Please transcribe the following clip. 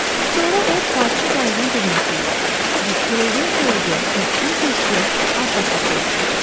Sonra o parçı qayığın dibinə tulladı və xırıldaya-xırıldaya, tövşüyə-tövşüyə arxası üstə yıxıldı.